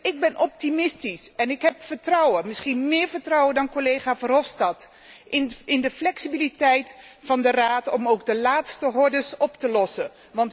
Ik ben optimistisch en ik heb vertrouwen, misschien meer vertrouwen dan collega Verhofstadt, in de flexibiliteit van de Raad om ook de laatste hordes te nemen.